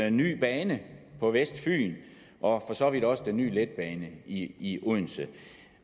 en ny bane på vestfyn og for så vidt også den nye letbane i odense